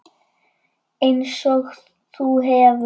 Einsog þú hefur.